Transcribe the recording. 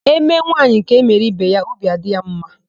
E mee nwaanyị ka e mere ibe ya; obi adị ya ḿmā.